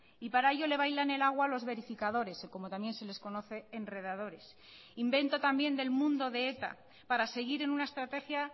y para ello le bailan el agua a los verificadores y como también se les conoce enredadores invento también del mundo de eta para seguir en una estrategia